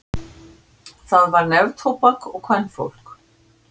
Það var neftóbak og kvenfólk.